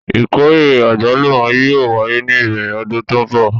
Ìkórè àgbálùmọ́ yóò wáyé ní ìbẹ̀rẹ̀ ọdún tó ń bọ̀.